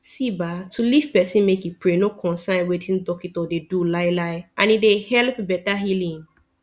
see bah to leave pesin make e pray no consain wetin dockito dey do lai lai and e dey helep beta healing